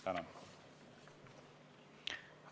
Tänan!